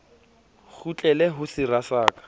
kgutlele ho sera sa ka